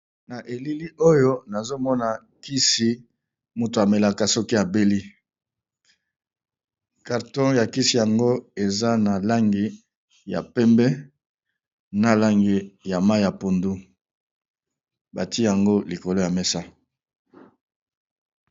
Na elili oyo nazomona kisi moto amelaka soki abeli ,carton ya kisi yango eza na langi ya pembe, na langi ya mayi ya pondu batie yango likolo ya mesa.